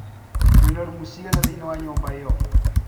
Wena rumu cigana theine wanyumba ĩyo?